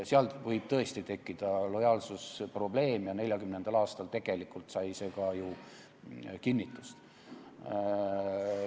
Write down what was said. Seal võib tõesti tekkida lojaalsusprobleem ja 1940. aastal sai see ka ju tegelikult kinnitust.